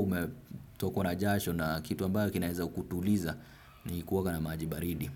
umetokwa na jasho na kitu ambayo kinaeza kutuliza ni kuoga na maji baridi.